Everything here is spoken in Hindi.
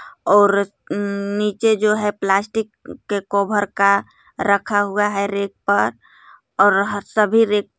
और नीचे जो है प्लास्टिक के कवर का रखा हुआ है रैक पर और सभी रैक